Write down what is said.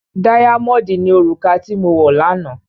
Dáyámọ̀ọ̀dì ni òrùka tí wọ̀ lánàá.